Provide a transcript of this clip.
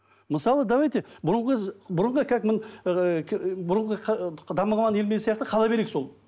мысалы давайте бұрынғы бұрынғы как ыыы бұрынғы дамымаған елмен сияқты қала берейік сол